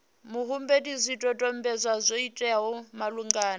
muhumbeli zwidodombedzwa zwo teaho malugana